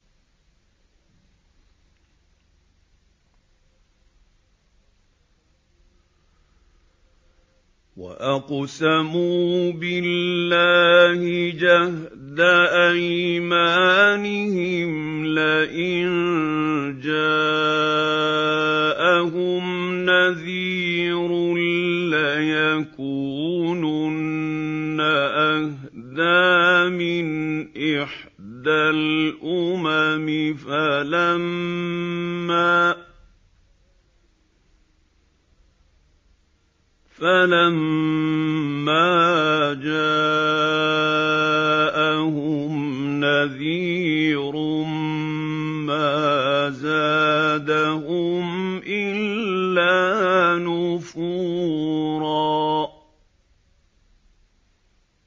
وَأَقْسَمُوا بِاللَّهِ جَهْدَ أَيْمَانِهِمْ لَئِن جَاءَهُمْ نَذِيرٌ لَّيَكُونُنَّ أَهْدَىٰ مِنْ إِحْدَى الْأُمَمِ ۖ فَلَمَّا جَاءَهُمْ نَذِيرٌ مَّا زَادَهُمْ إِلَّا نُفُورًا